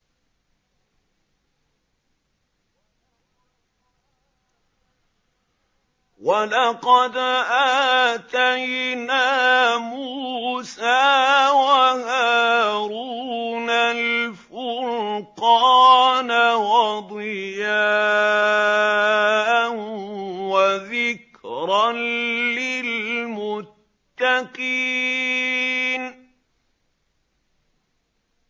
وَلَقَدْ آتَيْنَا مُوسَىٰ وَهَارُونَ الْفُرْقَانَ وَضِيَاءً وَذِكْرًا لِّلْمُتَّقِينَ